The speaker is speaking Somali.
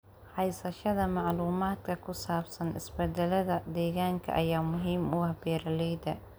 Haysashada macluumaadka ku saabsan isbeddelada deegaanka ayaa muhiim u ah beeralayda.